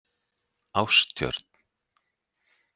Ástjörn